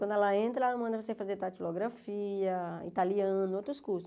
Quando ela entra, ela manda você fazer datilografia, italiano, outros cursos.